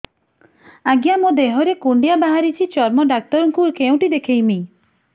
ଆଜ୍ଞା ମୋ ଦେହ ରେ କୁଣ୍ଡିଆ ବାହାରିଛି ଚର୍ମ ଡାକ୍ତର ଙ୍କୁ କେଉଁଠି ଦେଖେଇମି